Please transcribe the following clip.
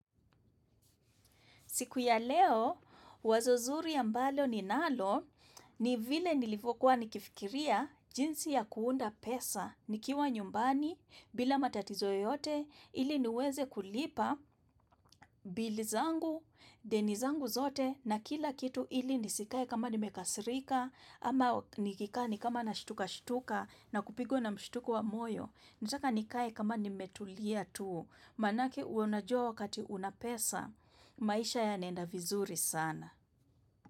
Siku ya leo, wazo nzuri ya mbalo ni nalo, ni vile nilifokuwa nikifikiria jinsi ya kuunda pesa, nikiwa nyumbani, bila matatizo yote, ili niweze kulipa Bill zangu, deni zangu zote, na kila kitu ili nisikai kama nimekasirika, ama nikikani kama na shtuka shtuka, na kupigo na mshtuku wa moyo. Nitaka nikai kama nimetulia tu, manake unajua wakati unapesa, maisha ya nenda vizuri sana.